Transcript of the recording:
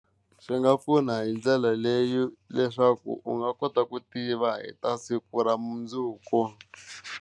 Swi nga pfuna hi ndlela leyi leswaku u nga kota ku tiva hi ta siku ra mundzuku.